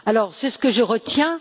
C'est ce que je retiens.